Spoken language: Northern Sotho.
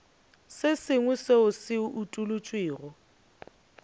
se sengwe seo se utolotšwego